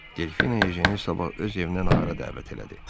Delfina ejeni sabah öz evinə nahara dəvət elədi.